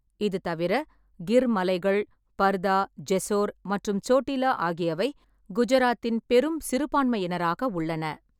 இது தவிர, கிர் மலைகள், பர்தா, ஜெசோர் மற்றும் சோட்டிலா ஆகியவை குஜராத்தின் பெரும் சிறுபான்மையினராக உள்ளன.